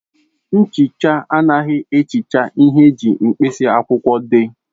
Nchicha anaghị ehicha ihe eji mkpịsị akwụkwọ dee.